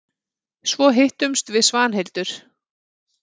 Svo hittumst við Svanhildur.